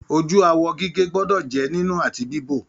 Ojú awọ gígé gbọdọ jẹ nínú àti bibo.